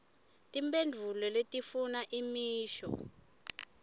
timphendvulo letifuna imisho